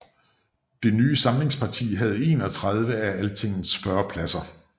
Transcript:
Det nye samlingsparti havde 31 af Altingets 40 pladser